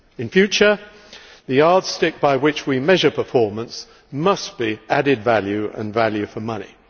In future the yardstick by which we measure performance must be added value and value for money.